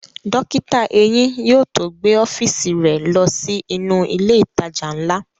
Dókítà eyín yóò tó gbé ọ́fíìsì rẹ̀ ló sí inú ilẹ̀ ìtajà ńlá